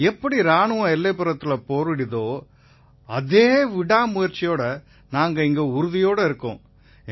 எப்படி இராணுவம் எல்லைப்புறத்தில போரிடுதோ அதே விடாமுயற்சியோட நாங்க இங்க உறுதியோட இருக்கோம்